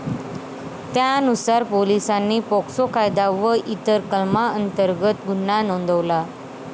त्यानुसार पोलिसांनी पोक्सो कायदा व इतर कलमांतर्गत गुन्हा नोंदवला.